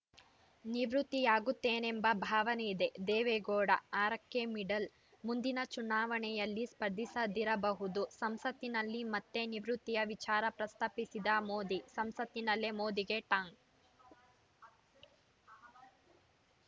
ನಿವೃತ್ತಿಯಾಗುತ್ತೇನೆಂಬ ಭಾವನೆಯಿದೆ ದೇವೇಗೌಡ ಆರ ಕ್ಕೆ ಮಿಡಲ್‌ ಮುಂದಿನ ಚುನಾವಣೆಯಲ್ಲಿ ಸ್ಪರ್ಧಿಸದಿರಬಹುದು ಸಂಸತ್ತಿನಲ್ಲಿ ಮತ್ತೆ ನಿವೃತ್ತಿಯ ವಿಚಾರ ಪ್ರಸ್ತಾಪಿಸಿದ ಮೋದಿ ಸಂಸತ್ತಿನಲ್ಲೇ ಮೋದಿಗೆ ಟಾಂಗ್‌